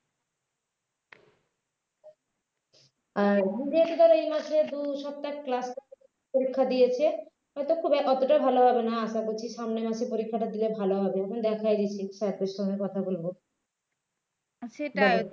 আর . এই মাসে দু সপ্তাহের class করে পরীক্ষা দিয়েছে হয়তো খুব একটা অতটা ভাল হবে না আশা করছি সামনের মাসে পরীক্ষা দিলে ভাল হবে . দেখিয়ে দিয়েছি sir দের সঙ্গে কথা বলব